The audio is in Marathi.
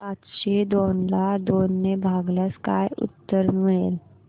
पाचशे दोन ला दोन ने भागल्यास काय उत्तर मिळेल